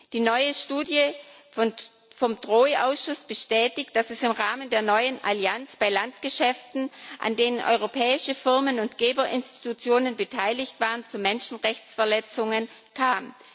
Die neue Studie vom DROI Ausschuss bestätigt, dass es im Rahmen der neuen Allianz bei Landgeschäften, an denen europäische Firmen und Geberinstitutionen beteiligt waren, zu Menschenrechtsverletzungen kam.